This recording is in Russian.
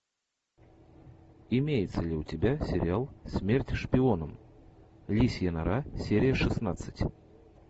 имеется ли у тебя сериал смерть шпионам лисья нора серия шестнадцать